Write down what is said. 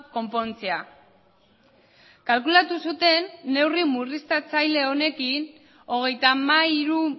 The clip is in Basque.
konpontzea kalkulatu zuten neurri murriztatzaile honekin hogeita hamairu